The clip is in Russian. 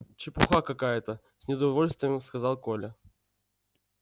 чепуха какая то с неудовольствием сказал коля